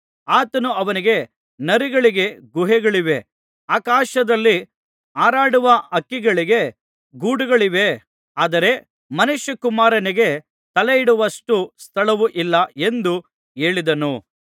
ಆತನು ಅವನಿಗೆ ನರಿಗಳಿಗೆ ಗುಹೆಗಳಿವೆ ಆಕಾಶದಲ್ಲಿ ಹಾರಾಡುವ ಹಕ್ಕಿಗಳಿಗೆ ಗೂಡುಗಳಿವೆ ಆದರೆ ಮನುಷ್ಯಕುಮಾರನಿಗೆ ತಲೆಯಿಡುವಷ್ಟು ಸ್ಥಳವೂ ಇಲ್ಲ ಎಂದು ಹೇಳಿದನು